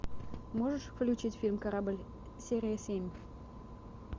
можешь включить фильм корабль серия семь